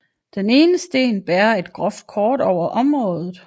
Den ene sten bærer et groft kort over området